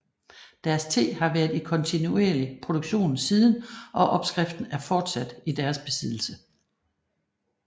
Deres te har været i kontinuerlig produktion siden og opskriften er fortsat i deres besiddelse